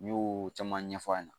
N y'o caman ɲɛfɔ a ɲɛna